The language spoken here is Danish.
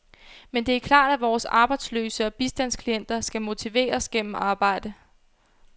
Men det er klart, at vore arbejdsløse og bistandsklienter skal motiveres gennem arbejde.